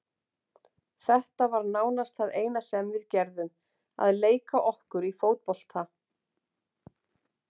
Þetta var nánast það eina sem við gerðum, að leika okkur í fótbolta.